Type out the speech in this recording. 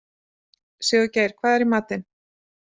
Sigurgeir, hvað er í matinn?